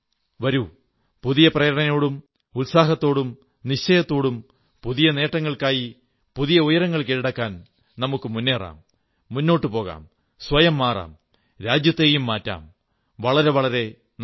വരൂ പുതിയ പ്രേരണയോടും ഉത്സാഹത്തോടും നിശ്ചയത്തോടും പുതിയ നേട്ടങ്ങൾക്കായി പുതിയ ഉയരങ്ങൾ കീഴടക്കാൻ മുന്നേറാം മുന്നോട്ടു പോകാം സ്വയം മാറാം രാജ്യത്തെയും മാറ്റാം വളരെ വളരെ നന്ദി